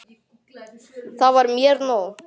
Það var mér nóg.